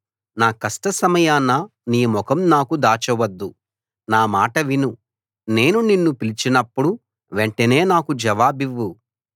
నా కష్టసమయాన నీ ముఖం నాకు దాచవద్దు నా మాట విను నేను నిన్ను పిలిచినప్పుడు వెంటనే నాకు జవాబివ్వు